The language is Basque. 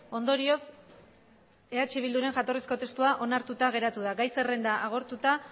ondorioz eh bilduren jatorrizko testua onartuta geratu da gai zerrenda agortuta